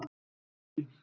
Ýmis yrki